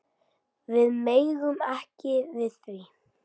Við megum ekki við því.